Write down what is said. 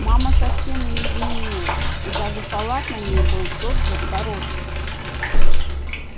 мама совсем не изменилась и даже халат на ней был тот же в горошек